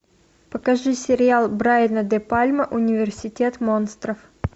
покажи сериал брайана де пальма университет монстров